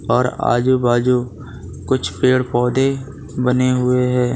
और आजू बाजू कुछ पेड़ पौधे बने हुए है।